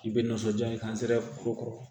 K'i bɛ nisɔndiya ni kuru kɔrɔ